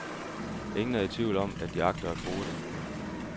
Ingen er i tvivl om, at de agter at bruge det.